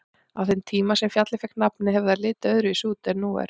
Á þeim tíma sem fjallið fékk nafnið hefur það litið öðruvísi út en nú er.